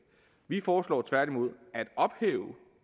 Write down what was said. vi foreslår tværtimod at ophæve